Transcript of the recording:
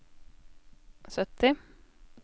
sytti